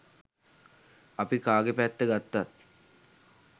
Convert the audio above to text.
අපි කාගෙ පැත්ත ගත්තත්